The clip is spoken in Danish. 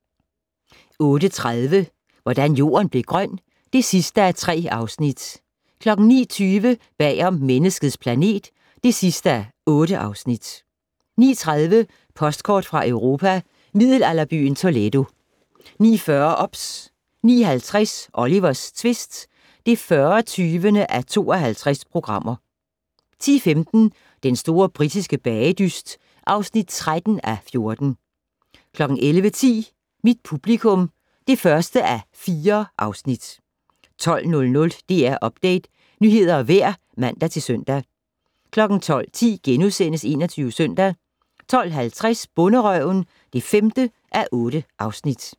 08:30: Hvordan Jorden blev grøn (3:3) 09:20: Bag om "Menneskets planet" (8:8) 09:30: Postkort fra Europa: Middelalderbyen Toledo 09:40: OBS 09:50: Olivers tvist (40:52) 10:15: Den store britiske bagedyst (13:14) 11:10: Mit publikum (1:4) 12:00: DR Update - nyheder og vejr (man-søn) 12:10: 21 Søndag * 12:50: Bonderøven (5:8)